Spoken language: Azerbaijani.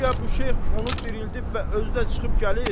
guya bu şeyx onu dirildib və özü də çıxıb gəlir.